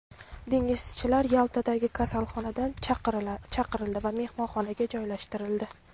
Dengizchilar Yaltadagi kasalxonadan chiqarildi va mehmonxonaga joylashtirildi.